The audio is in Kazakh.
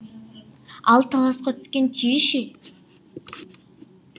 ал таласқа түскен түйе ше